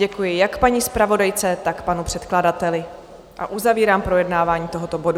Děkuji jak paní zpravodajce, tak panu předkladateli a uzavírám projednávání tohoto bodu.